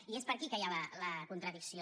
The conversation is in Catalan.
i és per aquí que hi ha la contradicció